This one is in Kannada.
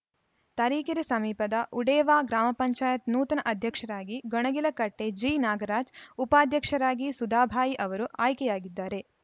ತರೀಕೆರೆ ಸಮೀಪದ ಉಡೇವಾ ಗ್ರಾಮ ಪಂಚಾಯತ್ ನೂತನ ಅಧ್ಯಕ್ಷರಾಗಿ ಗೊಣಗಿಲಕಟ್ಟೆಜಿ ನಾಗರಾಜ್‌ ಉಪಾಧ್ಯಕ್ಷರಾಗಿ ಸುಧಾಬಾಯಿ ಅವರು ಆಯ್ಕೆಯಾಗಿದ್ದಾರೆ